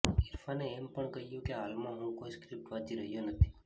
ઇરફાને એમ પણ કહ્યું કે હાલમાં હું કોઇ સ્ક્રિપ્ટ વાંચી રહ્યો નથી